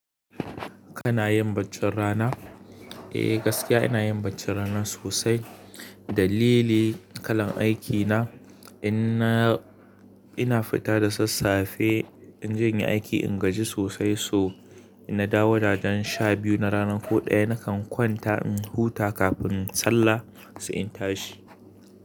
Kana yin baccin rana? Eh gaskiya ina yin baccin rana sosai. Dalili kalan aikina inna, ina fita da sassafe in je yin aiki ingaji sosai so ina da wajan sha biyu na rana ko ɗaya nakan kwanta in huta kafin sallah sai in tashi.